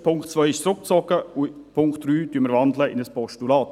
Der Punkt 2 ist zurückgezogen, und den Punkt 3 wandeln wir in ein Postulat.